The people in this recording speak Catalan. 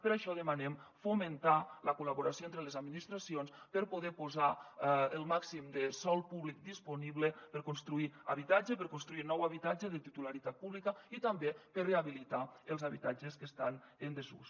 per això demanem fomentar la col·laboració entre les administracions per poder posar el màxim de sòl públic disponible per construir habitatge per construir nou habitatge de titularitat pública i també per rehabilitar els habitatges que estan en desús